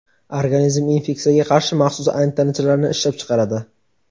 organizm infeksiyaga qarshi maxsus antitanachalarni ishlab chiqaradi.